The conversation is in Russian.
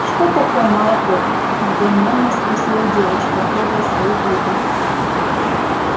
что такое молоко недоумённо спросила девочка трогая свои губы